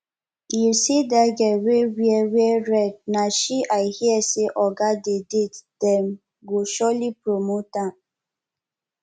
you see dat girl wey wear red na she i hear say oga dey date dem go surely promote am